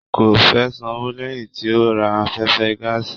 Kò fẹ sanwó lẹyìn tí o ra afẹfẹ gàásí.